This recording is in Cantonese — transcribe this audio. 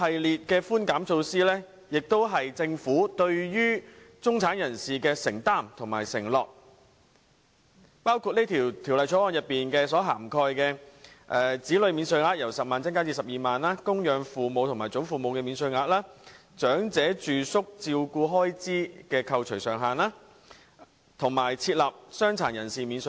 這些寬減措施是政府對中產人士的承擔和承諾，包括《2018年稅務條例草案》所涵蓋的措施，例如把子女免稅額由10萬元增至12萬元、增加供養父母或祖父母免稅額、提升長者住宿照顧開支的扣除上限，以及設立傷殘人士免稅額。